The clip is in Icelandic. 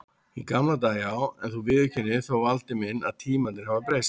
Í gamla daga já, en þú viðurkennir þó Valdi minn að tímarnir hafa breyst.